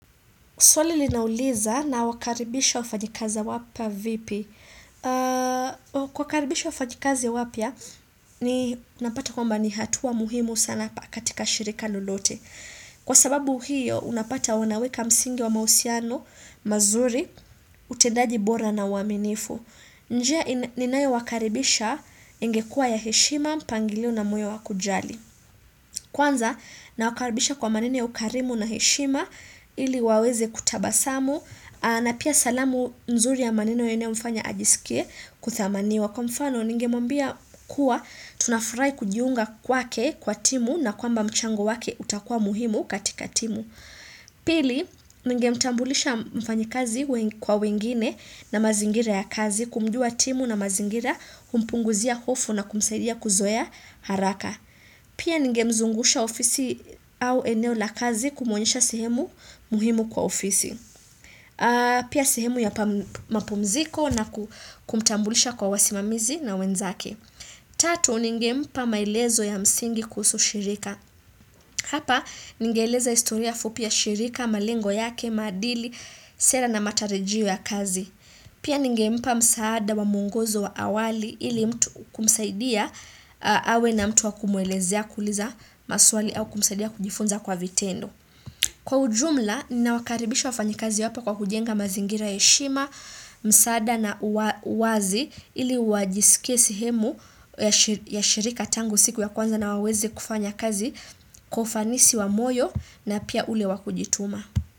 Swali linauliza nawakaribisha wafanyikazi wapya vipi. Kuwakaribisha wafanyikazi wapya, ni napata kwamba ni hatua muhimu sana katika shirika lolote. Kwa sababu hiyo, unapata wanaweka msingi wa mahusiano, mazuri, utendaji bora na uaminifu. Njia ninayo wakaribisha ingekua ya heshima, mpangilio na moyo wa kujali. Kwanza nawakaribisha kwa maneno ya ukarimu na heshima ili waweze kutabasamu na pia salamu nzuri ya maneno yanayomfanya ajisikie kuthamaniwa. Kwa mfano ningemwambia kuwa tunafurahi kujiunga kwake kwa timu na kwamba mchango wake utakua muhimu katika timu. Pili ningemtambulisha mfanyikazi kwa wengine na mazingira ya kazi kumjua timu na mazingira humpunguzia hofu na kumsaidia kuzoea haraka. Pia ningemzungusha ofisi au eneo la kazi kumwonesha sehemu muhimu kwa ofisi. Pia sehemu ya mapumziko na kumtambulisha kwa wasimamizi na wenzaki. Tatu ningempa maelezo ya msingi kuhusu shirika. Hapa ningeeleza historia fupi ya shirika, malengo yake, maadili, sera na matarajio ya kazi. Pia ningempa msaada wa mwongozo wa awali ili mtu kumsaidia awe na mtu wa kumwelezea kuuliza maswali au kumsaidia kujifunza kwa vitendo. Kwa ujumla, ninawakaribisha wafanyikazi wapya kwa kujenga mazingira ya heshima, msaada na uwazi ili wajiskie sehemu ya shirika tangu siku ya kwanza na wawezi kufanya kazi kwa ufanisi wa moyo na pia ule wa kujituma.